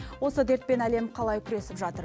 осы дертпен әлем қалай күресіп жатыр